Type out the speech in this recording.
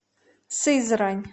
сызрань